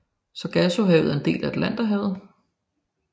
Sargassohavet er en del af Atlanterhavet